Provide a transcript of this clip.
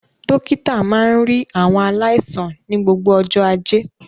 Dókítà máa ń rí àwọn aláìsàn ní gbogbo ọjọ́ Ajé.